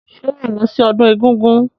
Ṣé wàá lọ sí ọdún egúngún?